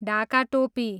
ढाका टोपी